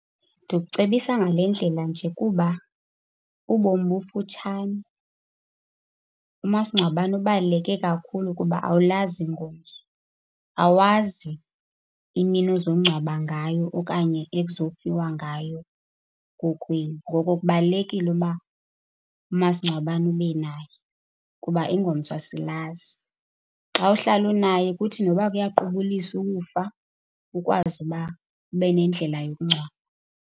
Ndikucebisa ngale ndlela nje kuba ubomi bufutshane. Umasingcwabane ubaluleke kakhulu kuba awulazi ingomso. Awazi imini ozongcwaba ngayo okanye ekuzofiwa ngayo kokwenu, ngoko kubaluleki uba umasingcwabane ube naye kuba ingomso asilazi. Xa uhlala unaye kuthi noba kuyaqubulisa ukufa, ukwazi uba ube nendlela yokungcwaba.